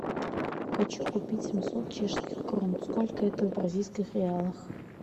хочу купить семьсот чешских крон сколько это в бразильских реалах